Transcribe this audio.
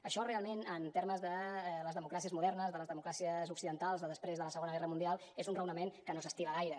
això realment en termes de les democràcies modernes de les democràcies occidentals de després de la segona guerra mundial és un raonament que no s’estila gaire